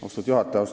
Austatud juhataja!